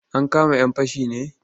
Ankama 'yan fashin ne?